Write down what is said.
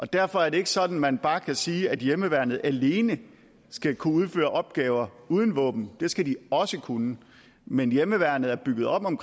derfor er det ikke sådan at man bare kan sige at hjemmeværnet alene skal kunne udføre opgaver uden våben det skal de også kunne men hjemmeværnet er bygget op om